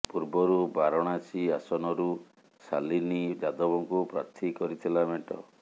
ପୂର୍ବରୁ ବାରଣାସୀ ଆସନରୁ ଶାଲିନୀ ଯାଦବଙ୍କୁ ପ୍ରାର୍ଥୀ କରିଥିଲା ମେଣ୍ଟ